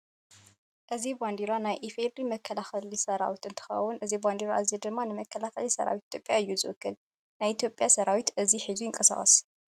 እዚ ባንደራ ናይ ኢፌድሪ መከላከሊ ሰራዊት እንትኮን እዚ ባንዳራ እዚ ድማ ንመከላከሊ ሰራዊት ኢትዮጵያ እዩ ዝውክል። ናይ ኢትዮጵያ ሰራዊት እዚ ሒዙ ይንቀሳቀስ።